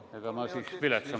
Ega ma siis viletsam pole.